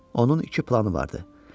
Onun iki planı vardı.